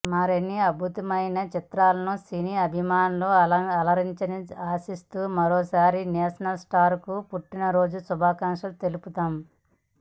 మరిన్ని అద్భుత చిత్రాలతో సినీ అభిమానులను అలరించాలని ఆశిస్తూ మరోసారి నేషనల్ స్టార్ కు పుట్టిన రోజు శుభాకాంక్షలు తెలుపుదాం